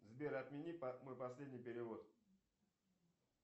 сбер отмени мой последний перевод